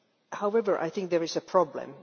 However, I think there is a problem.